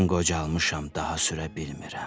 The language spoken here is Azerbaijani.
Mən qocalmışam, daha sürə bilmirəm.